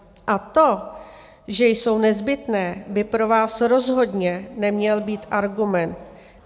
A to, že jsou nezbytné, by pro vás rozhodně neměl být argument.